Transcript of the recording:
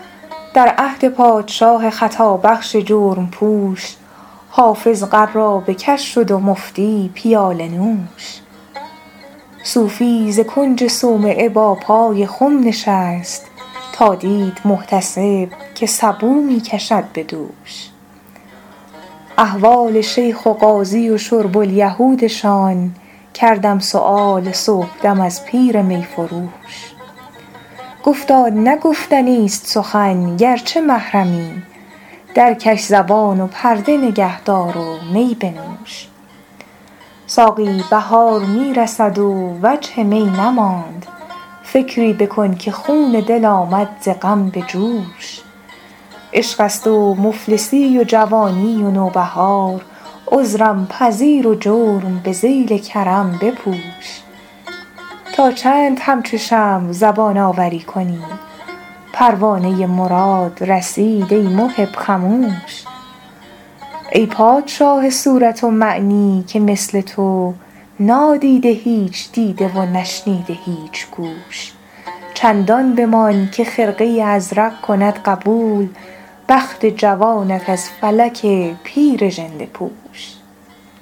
در عهد پادشاه خطابخش جرم پوش حافظ قرابه کش شد و مفتی پیاله نوش صوفی ز کنج صومعه با پای خم نشست تا دید محتسب که سبو می کشد به دوش احوال شیخ و قاضی و شرب الیهودشان کردم سؤال صبحدم از پیر می فروش گفتا نه گفتنیست سخن گرچه محرمی درکش زبان و پرده نگه دار و می بنوش ساقی بهار می رسد و وجه می نماند فکری بکن که خون دل آمد ز غم به جوش عشق است و مفلسی و جوانی و نوبهار عذرم پذیر و جرم به ذیل کرم بپوش تا چند همچو شمع زبان آوری کنی پروانه مراد رسید ای محب خموش ای پادشاه صورت و معنی که مثل تو نادیده هیچ دیده و نشنیده هیچ گوش چندان بمان که خرقه ازرق کند قبول بخت جوانت از فلک پیر ژنده پوش